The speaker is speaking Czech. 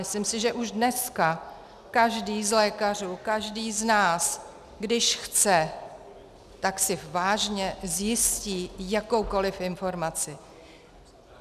Myslím si, že už dneska každý z lékařů, každý z nás, když chce, tak si vážně zjistí jakoukoliv informaci.